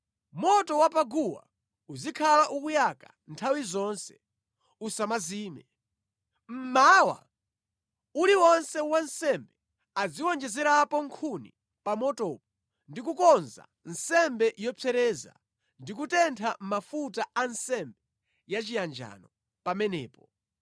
Moto wa pa guwa uzikhala ukuyaka nthawi zonse, usamazime. Mmawa uliwonse wansembe aziwonjezerapo nkhuni pa motopo ndi kukonza nsembe yopsereza, ndi kutentha mafuta a nsembe yachiyanjano pamenepo.